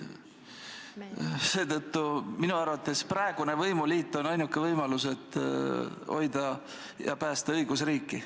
Seetõttu on praegune võimuliit minu arvates ainuke võimalus, et hoida ja päästa õigusriiki.